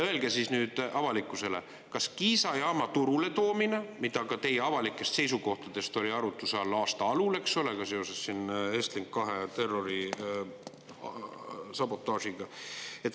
Öelge siis nüüd avalikkusele, kas Kiisa jaama turuletoomine, mis ka teie avalikest seisukohtadest oli arutluse all aasta alul, eks ole, ka seoses siin Estlink 2 terrorisabotaažiga.